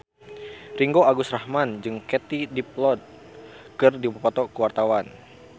Ringgo Agus Rahman jeung Katie Dippold keur dipoto ku wartawan